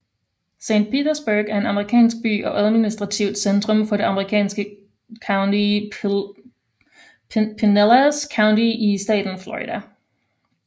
Saint Petersburg er en amerikansk by og administrativt centrum for det amerikanske county Pinellas County i staten Florida